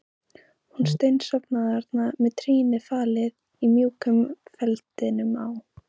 Hún steinsofnaði þarna með trýnið falið í mjúkum feldinum á